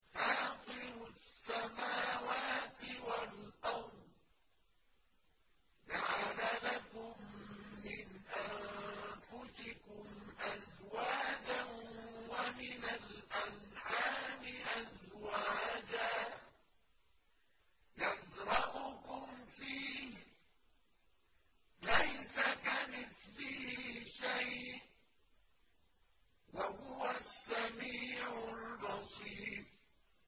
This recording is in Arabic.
فَاطِرُ السَّمَاوَاتِ وَالْأَرْضِ ۚ جَعَلَ لَكُم مِّنْ أَنفُسِكُمْ أَزْوَاجًا وَمِنَ الْأَنْعَامِ أَزْوَاجًا ۖ يَذْرَؤُكُمْ فِيهِ ۚ لَيْسَ كَمِثْلِهِ شَيْءٌ ۖ وَهُوَ السَّمِيعُ الْبَصِيرُ